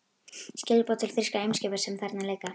Skilaboð til þýskra eimskipa, sem þarna liggja.